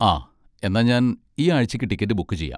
ആ, എന്നാ ഞാൻ ഈ ആഴ്ച്ചക്ക് ടിക്കറ്റ് ബുക്ക് ചെയ്യാം.